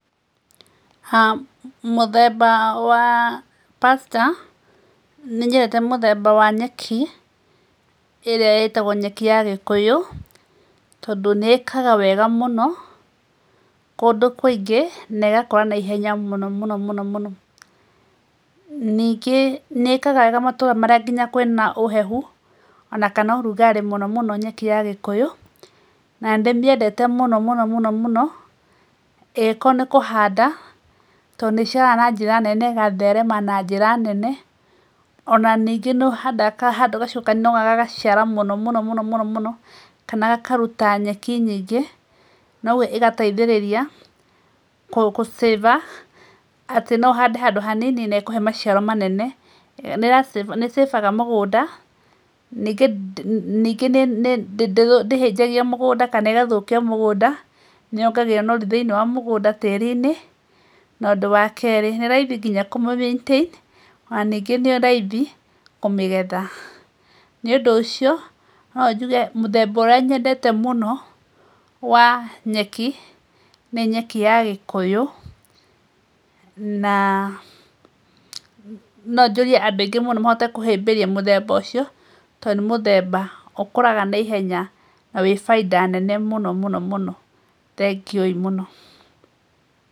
Mũthemba wa pasture, nĩ nyendete mũthemba wa nyeki ĩrĩa ĩtagwo nyeki ya gĩkũyũ tondũ nĩĩkaga wega mũno, kũndũ kũingĩ na ĩgakũra na ihenya mũno mũno mũno, ningĩ nĩ ĩkaga wega mũno nginya matũra marĩa mena ũhehu, ona kana ũrugarĩ mũno nyeki ya gĩkũyũ na nĩ ndĩmĩendete mũno mũno mũno, angĩkorwo nĩ kũhanda tondũ nĩ ĩciaraga na ĩgatherema na njĩra nene ona ningĩ nĩ ũhanda handũ gagacoka gũciara mũno mũno mũno, kana gakaruta nyeki nyingĩ na ũguo ĩgateithĩrĩria gũ save a, atĩ no ũhande handũ hanini na hakũhe maciaro manene, nĩ save aga mũgũnda ningĩ ndĩhĩnjagia mũgũnda kana ĩgathũkia mũgũnda, nĩ yongagĩrĩra ũnoru thĩinĩ wa mũgũnda tĩri-inĩ na ũndũ wa kerĩ nĩ raithi nginya kũmĩ maintain ona ningĩ nĩ raithi kũmĩgetha. Nĩ ũndũ ũcio no njuge mũthemba ũrĩa nyendete mũno wa nyeki nĩ nyeki ya gĩkũyũ na no njũrie andũ aingĩ mũno mahote kũhĩmbĩria mũthemba ũcio tondũ nĩ mũthemba ũkũraga nai ihenya na wĩna baita mũno mũno mũno thengio ii mũno.